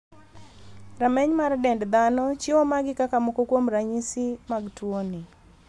Rameny mar dend dhano chiwo magi kaka moko kuom ranyisi mag tuoni.